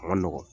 A ma nɔgɔn